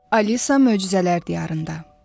Alisa möcüzələr diyarında.